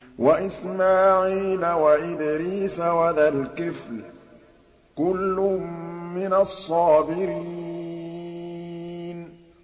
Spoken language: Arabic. وَإِسْمَاعِيلَ وَإِدْرِيسَ وَذَا الْكِفْلِ ۖ كُلٌّ مِّنَ الصَّابِرِينَ